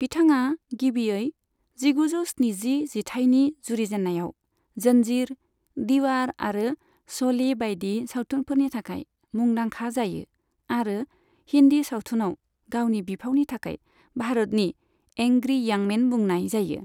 बिथांआ गिबियै जिगुजौ स्निजि जिथाइनि जुरिजेननायाव 'जन्जीर', 'दीवार' आरो 'श'ले' बायदि सावथुनफोरनि थाखाय मुंदांखा जायो आरो हिन्दी सावथुनाव गावनि बिफावनि थाखाय भारतनि 'एंग्री इयं मेन' बुंनाय जायो।